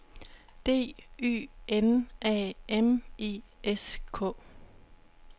D Y N A M I S K